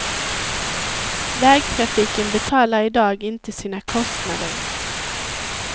Vägtrafiken betalar i dag inte sina kostnader.